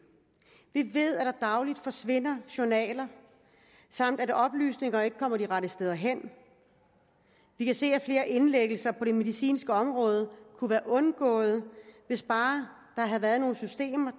vi ved at der dagligt forsvinder journaler samt at oplysninger ikke kommer de rette steder hen vi kan se at flere indlæggelser på det medicinske område kunne være undgået hvis bare der havde været nogle systemer